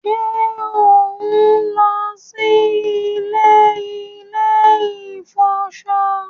ṣe on ló sì ilé ilè ifọṣọ?